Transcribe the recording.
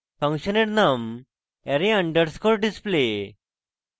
ফাংশনের name array underscore display